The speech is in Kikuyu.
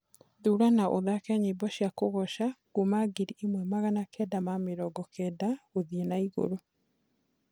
thũra na ũthake nyĩmbo cĩa kugoca kũma ngiriĩmwe magana kenda ma mĩrongo kenda guthii naiguru